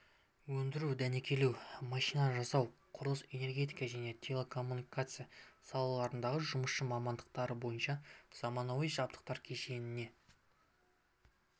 өндіру дәнекерлеу машина жасау құрылыс энергетика және телекоммуникация салаларындағы жұмысшы мамандықтары бойынша заманауи жабдықтар кешенімен